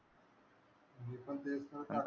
मी पण तेच ना काल,